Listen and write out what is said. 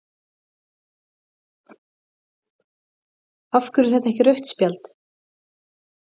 af hverju er þetta ekki rautt spjald?